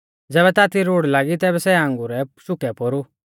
ज़ैबै ताती रुढ़ लागी तैबै सै आंगुरै शुकै पोरु